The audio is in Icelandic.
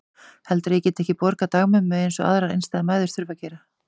Heldurðu að ég geti ekki borgað dagmömmu eins og aðrar einstæðar mæður þurfa að gera?